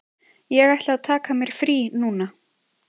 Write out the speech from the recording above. Ég ætla að taka mér frí núna.